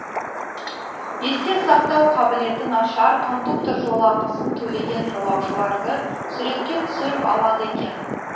есте сақтау қабілеті нашар кондуктор жолақысын төлеген жолаушыларды суретке түсіріп алады екен